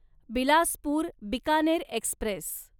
Bilaspur Bikaner Express